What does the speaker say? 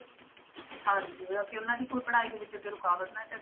ਹਾਂਜੀ ਮਤਲਬ ਕਿ ਉਹਨਾਂ ਦੀ ਕੋਈ ਪੜ੍ਹਾਈ ਦੇ ਵਿੱਚ ਅੱਗੇ ਰੁਕਾਵਟ ਨਾ ਪਏ,